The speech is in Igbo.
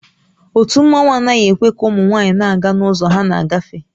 Ótú mmanwu anaghị ekwe ka ụmụ nwaanyị na-aga n'ụzọ ha na-agafe